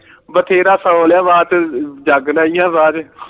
ਬਥੇਰਾ ਸੋ ਲਿਆ ਰਾਤ ਜਾਗਣਾ ਹੀ ਹੈ ਬਾਅਦ